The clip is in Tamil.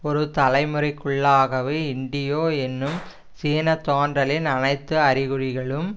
ஒரு தலைமுறைக்குள்ளாகவே இன்டியோ என்னும் சீன தோன்றலின் அனைத்து அறிகுறிகளும்